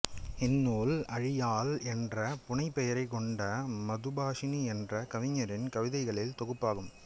இந்நூல் ஆழியாள் என்ற புனைபெயரை கொண்ட மதுபாஷினி என்ற கவிஞரின் கவிதைகளின் தொகுப்பாகும்